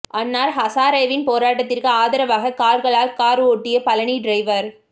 அன்னா ஹசாரேவின் போராட்டத்திற்கு ஆதரவாக கால்களால் கார் ஓட்டிய பழனி டிரைவர்